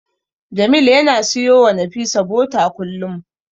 Jamil yana siyowa Nafisa bota kullum.